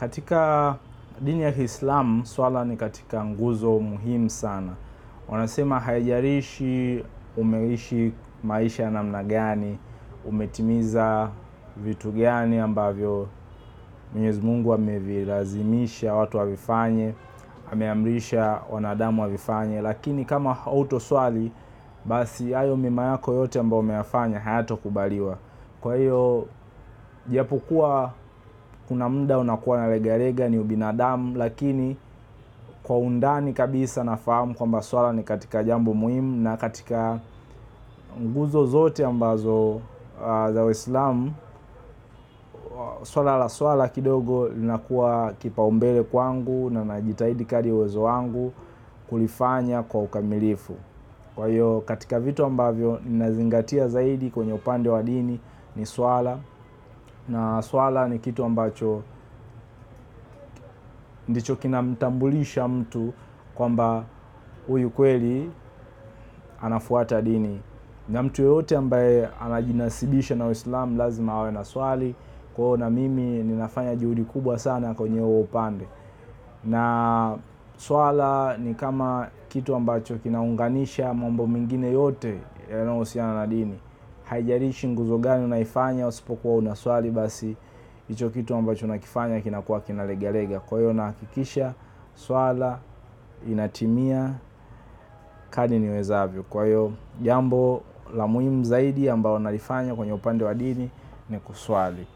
katika dini ya kislamu kuswali ni katika nguzo muhimu sana wanasema haijalishi, umeishi maisha namna gani, umetimiza vitu gani ambavyo mwenyezi mungu amevilazimisha watu wavifanye, ameamrisha wanadamu wavifanye, lakini kama hautoswali, basi hayo mema yako yote ambayo umeyafanya, hayatokubaliwa. Kwa hiyo, japokuwa kuna muda unakuwa na regarega ni ubinadamu, lakini kwa undani kabisa nafahamu kwamba swala ni katika jambo muhimu, na katika nguzo zote ambazo za waislamu, swala la swala kidogo linakuwa kipaumbele kwangu na najitahidi kadri ya uwezo wangu kulifanya kwa ukamilifu kwa hiyo katika vitu ambavyo ninazingatia zaidi kwenye upande wa dini ni swala. Na swala ni kitu ambacho ndicho kinamtambulisha mtu kwamba huyu kweli anafuata dini na mtu yeyote ambaye anajinasibisha na waislamu lazima awe anaswali kwa hivyo mimi ninafanya juhudi kubwa zaidi katika huo upande na swala ni kama kitu ambacho kinaunganisha mambo mengine yote yanayohusiana na dini haijalishi nguzo gani unaifanya usipokuwa unaswali basi hicho kitu ambacho unakifanya kinakuwa kinaregarega kwa hiyo nahakikisha swala inatimia kadri niwezavyo kwa hiyo jambo la muhimu zaidi ambalo nalifanya kwenye upande wa dini ni kuswali.